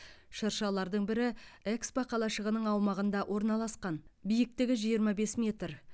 шыршалардың бірі экспо қалашығының аумағында орналасқан биіктігі жиырма бес метр